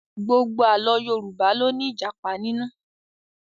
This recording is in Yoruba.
Gbogbo Àlọ́ Yorùbá ló ní Ìjàpá nínú